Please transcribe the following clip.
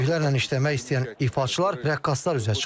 Böyüklərlə işləmək istəyən ifaçılar, rəqqaslar üzə çıxıb.